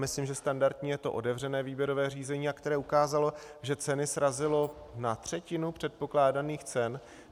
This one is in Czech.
Myslím, že standardní je to otevřené výběrové řízení, které ukázalo, že ceny srazilo na třetinu předpokládaných cen.